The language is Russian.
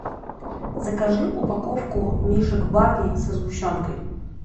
закажи упаковку мишек барни со сгущенкой